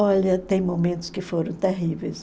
Olha, tem momentos que foram terríveis.